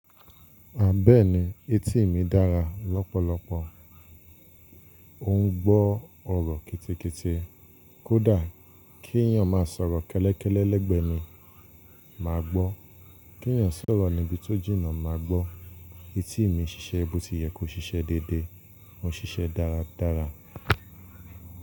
A bẹ́ẹ̀ni etí mi dára lọ́pọ̀lọpọ̀. Ó ń gbọ́ ọ̀rọ̀ ketekete. Kódà kí èèyàn má sọ̀rọ̀ kẹ́lẹ́kẹ́lẹ́ lẹ́gbẹ́ mi, má gbọ́. Kí èèyàn sọ ọ̀rọ̀ níbi tó jìnà, má gbọ́. Etí mi ṣiṣẹ́ bó ti yẹ kó ṣiṣẹ́ déédé, ó ń ṣiṣẹ́ dáradára.